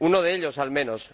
Uno de ellos, al menos.